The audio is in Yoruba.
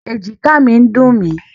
Èjìká mi ń dùn mí.